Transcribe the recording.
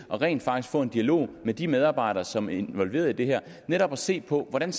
og rent faktisk få en dialog med de medarbejdere som er involveret i det her netop at se på hvordan